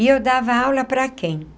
E eu dava aula para quem?